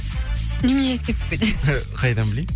немене еске түсіп кетеді қайдан білейін